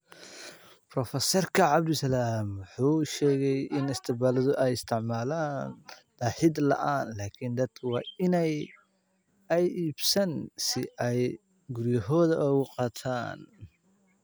Professerka cabdisalam waxa uu sheegay in Isbitaaladu ay isticmaalaan daahid la'aan laakiin dadku waa in aanay iibsan si ay guryahooda ugu qaataan.